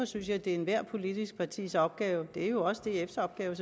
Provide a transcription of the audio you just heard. synes jeg det er ethvert politisk partis opgave og det er jo selvfølgelig også dfs opgave